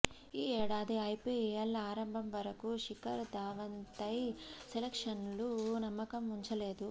ఈ ఏడాది ఐపీఎల్ ఆరంభం వరకూ శిఖర్ ధావన్పై సెలక్టర్లు నమ్మకం ఉంచలేదు